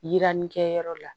Yirannikɛ yɔrɔ la